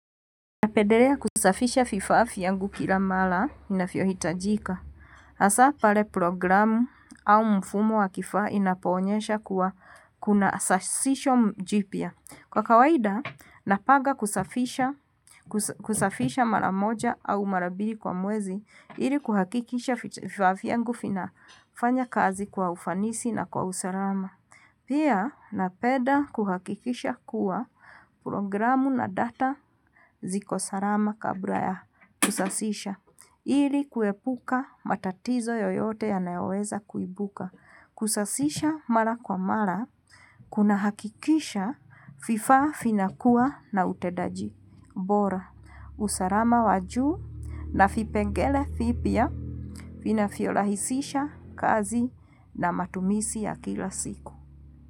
Napendelea kusafisha vifaa vyangu kila mara inavyohitajika hasa pale programu au mfumo wa kifaa inapoonyesha kuwa kuna sasisho jipya. Kwa kawaida napanga kusafisha mara moja au mara mbili kwa mwezi. Ili kuhakikisha vifaa vyangu vinafanya kazi kwa ufanisi na kwa usalama. Pia napeda kuhakikisha kuwa programu na data ziko salama kabla ya kusasisha ili kuepuka matatizo yoyote ya naoweza kuibuka. Kusasisha mara kwa mara kuna hakikisha vifaa vinakua na utendaji bora. Usalama wa juu na vipengele vipya vinavyorahisisha kazi na matumizi ya kila siku.